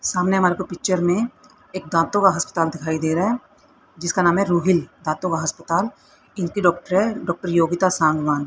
सामने मारे को पिक्चर में एक दांतों का हस्पताल दिखाई दे रहा है जिसका नाम है रूहिल दातों का हस्पताल इनकी डॉक्टर है डॉक्टर योगिता सांगवान ।